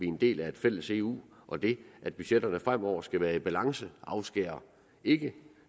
en del af et fælles eu og det at budgetterne fremover skal være i balance afskærer ikke